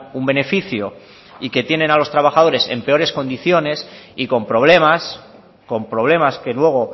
un beneficio y que tienen a los trabajadores en peores condiciones y con problemas con problemas que luego